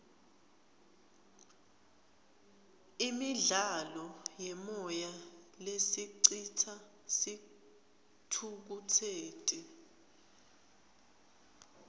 imidlalo yemoya lesicitsa sithukutseti